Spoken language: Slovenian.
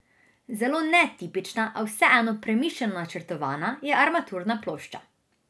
Zelo netipična, a vseeno premišljeno načrtovana, je armaturna plošča.